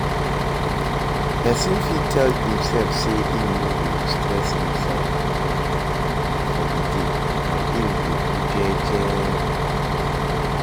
Persin fit tell imself say im no go stress for di day and I'm go de do gege